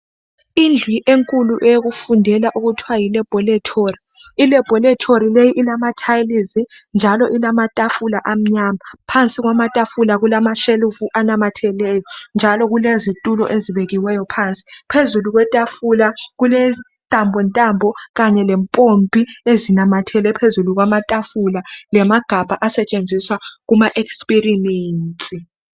Indlu enkulu eyokufundela okuthiwa yi laboratory, ilaboratory leyi ilama tiles njalo ilamatafula amnyama phansi kwamatafula kulamashelufu anamatheleyo njalo kulezitulo ezibekiweyo phansi phezulu kwetafula kulentambo ntambo kanye lempompi ezinamathele phezulu kwamatafula lamagabha asetshenziswa kuma experiments.